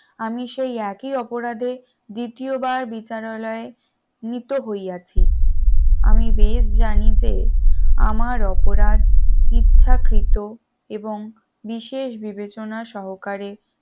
আমি সেই একই অপরাধে দ্বিতীয়বার বিচারালয়ে নিত হইয়াছি আমি বেশ জানি যে আমার অপরাধ ইচ্ছাকৃত এবং বিশেষ বিবেচনা সহকারে